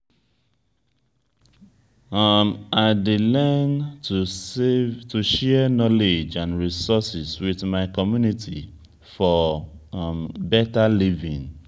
um i dey learn to share knowledge and resources with my community for um better living.